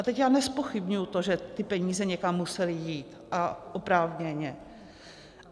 A teď já nezpochybňuji to, že ty peníze někam musely jít a oprávněně.